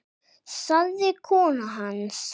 sagði kona hans.